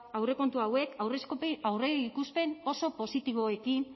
aurrekontu hauek aurreikuspen oso positiboekin